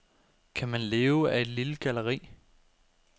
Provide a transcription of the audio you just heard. Kan man leve af et lille galleri?